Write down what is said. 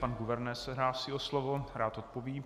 Pan guvernér se hlásí o slovo, rád odpoví.